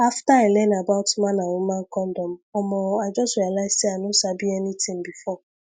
after i learn about man and woman condom omo i just realize say i no sabi anything before